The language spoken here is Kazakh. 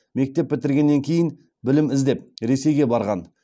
мектеп бітіргеннен кейін білім іздеп ресейге барған